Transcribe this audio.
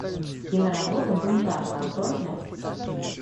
киноработа бунтарка открой мне